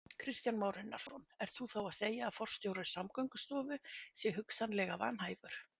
Kristján Már Unnarsson: Ert þú þá að segja að forstjóri Samgöngustofu sé hugsanlega vanhæfur?